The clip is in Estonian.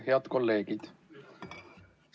Head kolleegid!